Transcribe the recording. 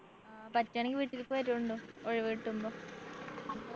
ആ പറ്റുവാണെങ്കി വീട്ടിലേക്ക് വരൂ ണ്ടോ ഒഴിവ് കിട്ടുമ്പോ